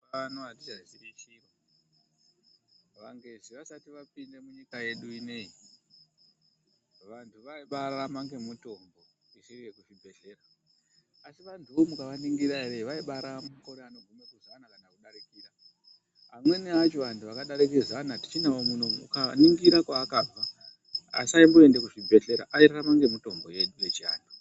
Mazuvaanaa atichaziye chinhu, vangezi vasati vapinda munyika yedu ineyi vantu vaibaararama nemitombo isiri yekuzvibhehlera .Vantu vakona ukavaona vaibaararame makore zana kana kudarika. Amweni akona akararama makore zana tichinavo ukaningira avaisararama nemitombo yechibhebhera airarama nemitombo yedu yechianthu.